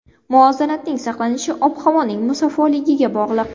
Muvozanatning saqlanishi ob-havoning musaffoligiga bog‘liq.